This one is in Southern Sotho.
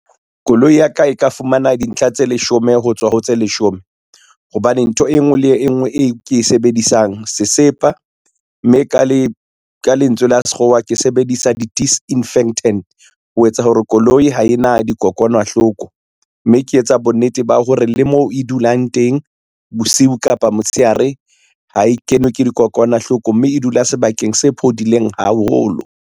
Koloi ya ka e ka fumana dintlha tse leshome ho tswa ho tse leshome, hobane ntho e ngwe le e ngwe e ke e sebedisang sesepa, mme ka lentswe la sekgowa ke sebedisa di-disinfectant, ho etsa hore koloi ha e na dikokwanahloko, mme ke etsa bonnete ba hore le mo e dulang teng bosiu kapa motshehare ha e kenwe ke dikokwanahloko, mme e dula sebakeng se phodileng haholo.